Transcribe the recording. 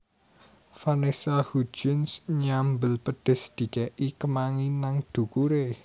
Vanessa Hudgens nyambel pedes dikek i kemangi nang dhukure